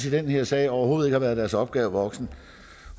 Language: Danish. i den her sag overhovedet har været deres opgave voksen